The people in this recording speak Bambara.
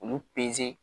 Olu peze